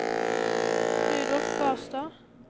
Rudolf Barstad